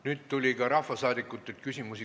Nüüd tuli ka rahvasaadikutelt küsimusi.